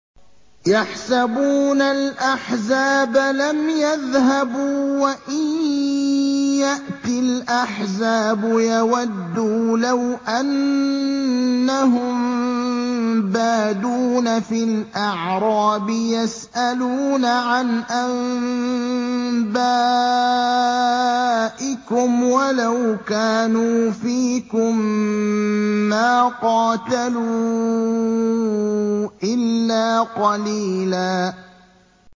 يَحْسَبُونَ الْأَحْزَابَ لَمْ يَذْهَبُوا ۖ وَإِن يَأْتِ الْأَحْزَابُ يَوَدُّوا لَوْ أَنَّهُم بَادُونَ فِي الْأَعْرَابِ يَسْأَلُونَ عَنْ أَنبَائِكُمْ ۖ وَلَوْ كَانُوا فِيكُم مَّا قَاتَلُوا إِلَّا قَلِيلًا